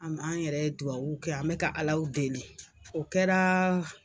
An yɛrɛ ye dudabwu kɛ an bɛka ka ala deli o kɛra